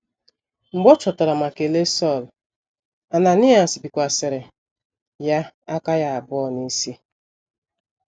Mgbe ọ chọtara ma kelee Sọl, Ananaịas bikwasịrị ya aka ya abụọ n’isi.